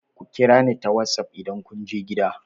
Ku kira ni ta wassaf idan kun je gida!